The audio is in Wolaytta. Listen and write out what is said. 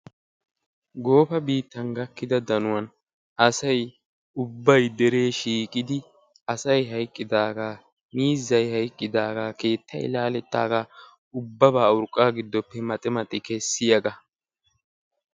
Goofa biittan gakkida danuwaan asay ubbay deree shiiqidi asay hayqqidagaa miizzay hayqqidagaa keettay laalettaagaa ubbabaa urqqaa gidoppe maxi maxi kessiyaagaa.